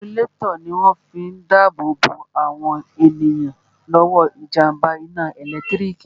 Inisulétọ̀ ní wọ́n fi n dá ààbò bo àwọn èèyàn lọ́wọ́ jàmbá iná ẹ̀lẹ́tírík